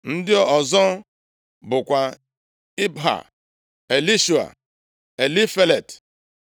Ndị ọzọ bụkwa Ibha, Elishua, + 3:6 Elishua ma ọ bụkwanụ Elishama. Elifelet,